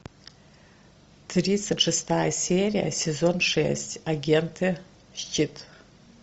тридцать шестая серия сезон шесть агенты щит